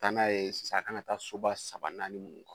Ka taa n'a ye sisan a kan taa soba saba naani mun kɔnɔ